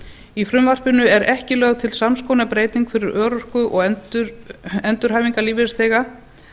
í frumvarpinu er ekki lögð til sams konar breyting hvað örorku og endurhæfingarlífeyrisþega